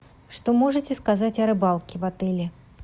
что можете сказать о рыбалке в отеле